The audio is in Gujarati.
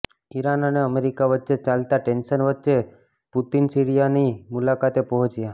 ઈરાન અને અમેરિકા વચ્ચે ચાલતા ટેન્શન વચ્ચે પુતીન સીરિયાની મુલાકાતે પહોંચ્યા